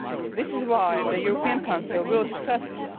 This is why the European Council will discuss it.